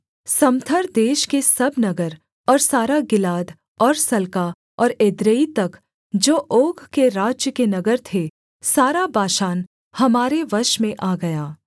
समथर देश के सब नगर और सारा गिलाद और सल्का और एद्रेई तक जो ओग के राज्य के नगर थे सारा बाशान हमारे वश में आ गया